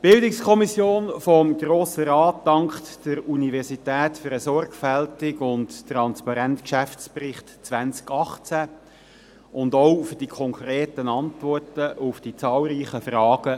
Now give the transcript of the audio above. Die BiK des Grossen Rates dankt der Universität für den sorgfältigen und transparenten Geschäftsbericht 2018 und auch für die konkreten Antworten auf die zahlreichen Fragen